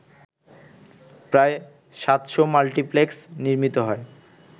প্রায় ৭০০ মাল্টিপ্লেক্স নির্মিত হয়